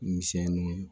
Misɛnnuw